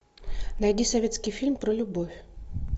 найди советский фильм про любовь